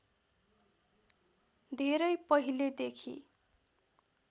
धेरै पहिलेदेखि